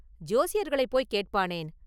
“ஜோசியர்களைப் போய்க் கேட்பானேன்?